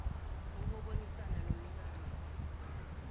nokubonisana nomnikazi wenarha